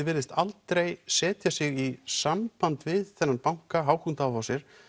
virðist aldrei setja sig í samband við þennan banka Hauck og Aufhäuser